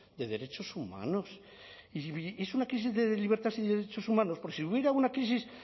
de derechos humanos y es una crisis de libertades y de derechos humanos porque si hubiera una crisis